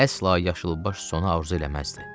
Əsla yaşılbaş sona arzu eləməzdi.